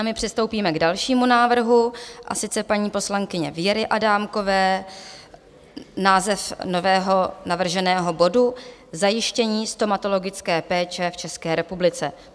A my přistoupíme k dalšímu návrhu, a sice paní poslankyně Věry Adámkové, název nového navrženého bodu - Zajištění stomatologické péče v České republice.